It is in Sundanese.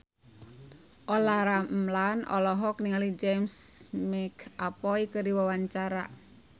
Olla Ramlan olohok ningali James McAvoy keur diwawancara